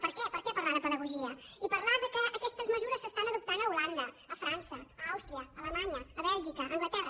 per què per què parlar de pedagogia i parlar que aquestes mesures s’adopten a holanda a frança a àustria a alemanya a bèlgica a anglaterra